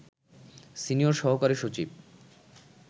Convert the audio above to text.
senior সহকারী সচিব